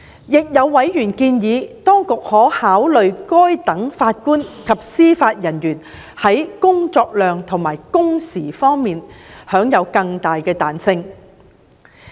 亦有委員建議當局可考慮讓該等法官及司法人員在工作量和工時方面享有更大彈性。